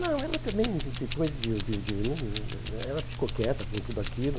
Não, ela também, de depois de de de mim... Ela ficou quieta com tudo aquilo.